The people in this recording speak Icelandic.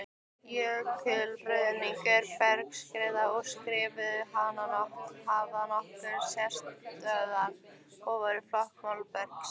Jökulruðningur, bergskriður og skriður hafa nokkra sérstöðu við flokkun molabergs.